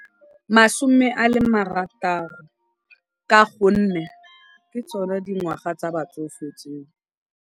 Masome a le marataro ka gonne ke tsone dingwaga tsa batsofe tseo.